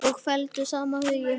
Og felldu saman hugi.